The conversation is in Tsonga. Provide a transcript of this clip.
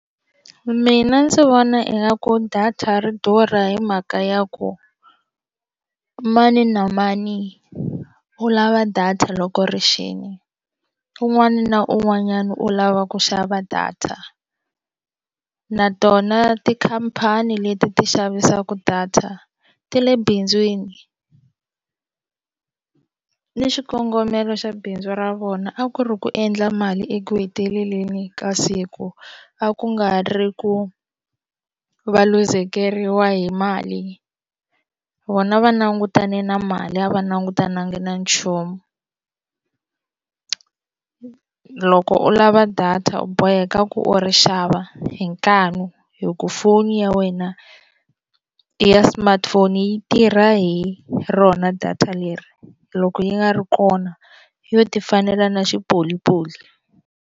Mina ndzi vona ingaku data ri durha hi mhaka ya ku mani na mani u lava data loko rixile un'wana na un'wanyana u lava ku xava data na tona tikhampani leti ti xavisaku data ti le bindzwini ni xikongomelo xa bindzu ra vona a ku ri ku endla mali eku heteleleni ka siku a ku nga ri ku va luzekeriwa hi mali vona va langutane na mali a va langutananga na nchumu loko u lava data u boheka ku ri xava hi nkanu hi ku foni ya wena i ya smartphone yi tirha hi rona data leri loko yi nga ri kona yo ti fanela na xipolipoli.